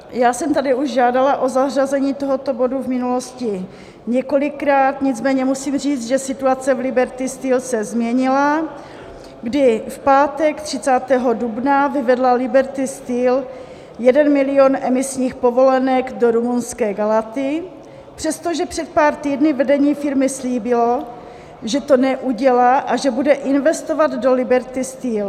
Já jsem tady už žádala o zařazení tohoto bodu v minulosti několikrát, nicméně musím říct, že situace v Liberty Steel se změnila, kdy v pátek 30. dubna vyvedla Liberty Steel 1 milion emisních povolenek do rumunské Galaty, přestože před pár týdny vedení firmy slíbilo, že to neudělá a že bude investovat do Liberty Steel.